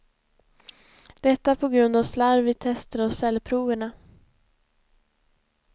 Detta på grund av slarv vid tester av cellproverna.